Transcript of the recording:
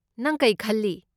ꯅꯪ ꯀꯩ ꯈꯜꯂꯤ?